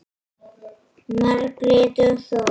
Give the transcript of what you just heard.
Margrét og Þór.